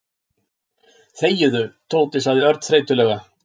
Þegiðu, Tóti sagði Örn þreytulega.